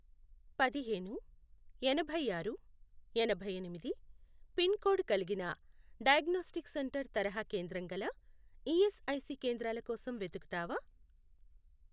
పదిహేను, ఎనభైఆరు, ఎనభైఎనిమిది, పిన్ కోడ్ కలిగిన డయాగ్నోస్టిక్ సెంటర్ తరహా కేంద్రం గల ఈఎస్ఐసి కేంద్రాల కోసం వెతుకుతావా?